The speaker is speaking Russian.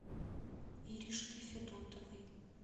иришки федотовой